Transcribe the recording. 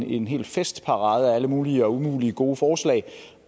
en hel festparade af alle mulige og umulige gode forslag